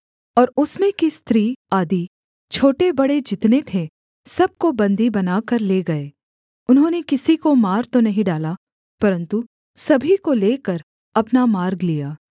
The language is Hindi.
और उसमें की स्त्री आदि छोटे बड़े जितने थे सब को बन्दी बनाकर ले गए उन्होंने किसी को मार तो नहीं डाला परन्तु सभी को लेकर अपना मार्ग लिया